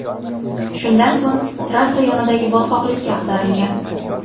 Shundan so‘ng trassa yonidagi botqoqlikka ag‘darilgan.